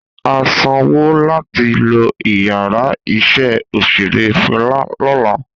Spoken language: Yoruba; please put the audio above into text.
A sanwo lati lo iyàrá iṣẹ́ òṣérẹ́ Fẹla lọla.